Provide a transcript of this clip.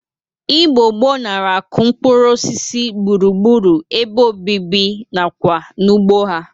Igbo gboo nara akụ mkpụrụosisi gbụrugbụru ebe obibi na kwa n'ugbo ha.